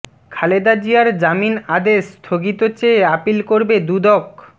খালেদা জিয়ার জামিন আদেশ স্থগিত চেয়ে আপিল করবে দুদক